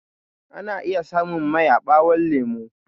Ana iya samun mai a ɓawon lemo